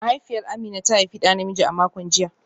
Mahaifiyar Amina ta haifi da namiji a makon jiya